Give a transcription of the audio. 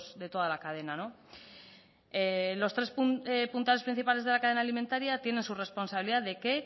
de toda la cadena los tres puntales principales de la cadena alimentaria tienen su responsabilidad de qué